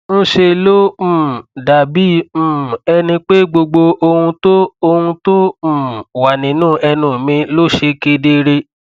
ńṣe ló um dàbí um ẹni pé gbogbo ohun tó ohun tó um wà nínú ẹnu mi ló ṣe kedere